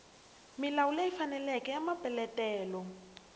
milawu leyi faneleke ya mapeletelo